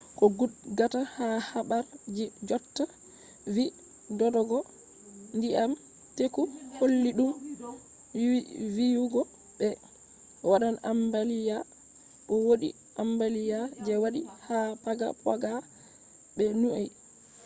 ko gudgata ha habar ji jotta vi dodogo ndyiam teku holli dou viyugo be wadan ambaliya. bo wodi ambaliya je wadi ha paga poga be niue